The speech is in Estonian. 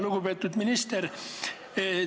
Lugupeetud minister!